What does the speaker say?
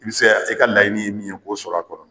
I be sɛ i ka laɲini ye min ye k'o sɔr'a kɔnɔ.